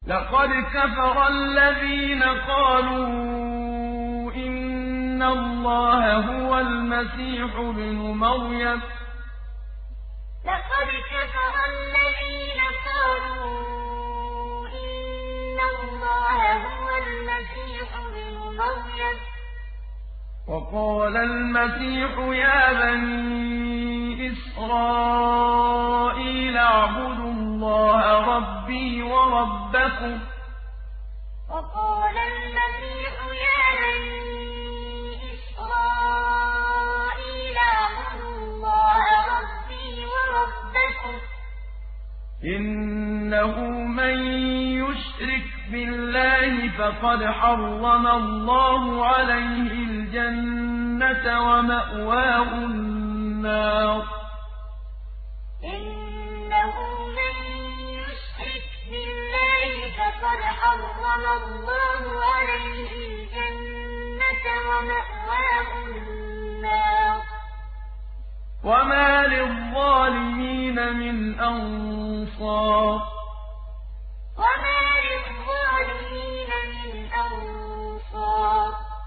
لَقَدْ كَفَرَ الَّذِينَ قَالُوا إِنَّ اللَّهَ هُوَ الْمَسِيحُ ابْنُ مَرْيَمَ ۖ وَقَالَ الْمَسِيحُ يَا بَنِي إِسْرَائِيلَ اعْبُدُوا اللَّهَ رَبِّي وَرَبَّكُمْ ۖ إِنَّهُ مَن يُشْرِكْ بِاللَّهِ فَقَدْ حَرَّمَ اللَّهُ عَلَيْهِ الْجَنَّةَ وَمَأْوَاهُ النَّارُ ۖ وَمَا لِلظَّالِمِينَ مِنْ أَنصَارٍ لَقَدْ كَفَرَ الَّذِينَ قَالُوا إِنَّ اللَّهَ هُوَ الْمَسِيحُ ابْنُ مَرْيَمَ ۖ وَقَالَ الْمَسِيحُ يَا بَنِي إِسْرَائِيلَ اعْبُدُوا اللَّهَ رَبِّي وَرَبَّكُمْ ۖ إِنَّهُ مَن يُشْرِكْ بِاللَّهِ فَقَدْ حَرَّمَ اللَّهُ عَلَيْهِ الْجَنَّةَ وَمَأْوَاهُ النَّارُ ۖ وَمَا لِلظَّالِمِينَ مِنْ أَنصَارٍ